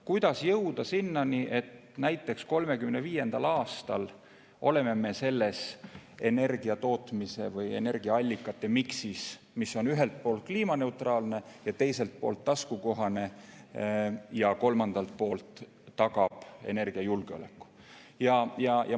Kuidas jõuda sinnani, et näiteks 2035. aastal oleme me selles energiatootmise või energiaallikate miksis, mis on ühelt poolt kliimaneutraalne ja teiselt poolt taskukohane ja kolmandalt poolt tagab energiajulgeoleku?